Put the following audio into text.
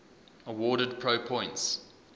awarded pro points